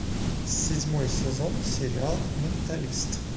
седьмой сезон сериал менталист